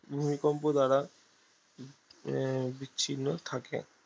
ভূমিকম্প দ্বারা আহ বিচ্ছিন্ন থাকে